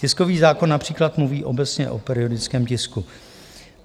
Tiskový zákon například mluví obecně o periodickém tisku.